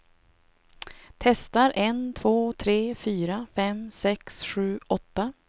Testar en två tre fyra fem sex sju åtta.